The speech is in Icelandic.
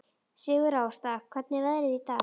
Sigurásta, hvernig er veðrið í dag?